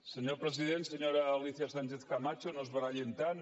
senyor president senyora alícia sánchez camacho no es barallin tant